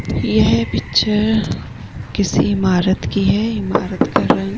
ये है पिक्चर किसी इमारत की है | इमारत का रंग --